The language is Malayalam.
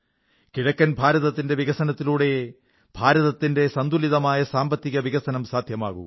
കിഴക്കൻ ഭാരതത്തിന്റെ വികസനത്തിലൂടെയേ രാജ്യത്തിന്റെ സന്തുലിതമായ സാമ്പത്തിക വികസനം സാധ്യമാകൂ